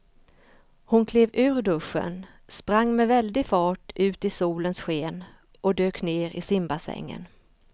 Hon klev ur duschen, sprang med väldig fart ut i solens sken och dök ner i simbassängen.